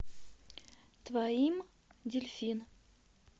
твоим дельфин